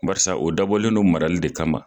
Balasa o dabɔlen don marali de kama .